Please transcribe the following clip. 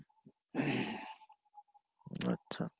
আচ্ছা,